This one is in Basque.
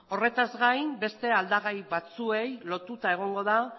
horretaz gain beste aldagai batzuei lotuta egongo